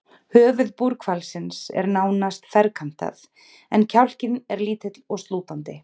Höfuð búrhvalsins er nánast ferkantað, en kjálkinn er lítill og slútandi.